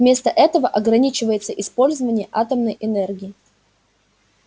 вместо этого ограничивается использование атомной энергии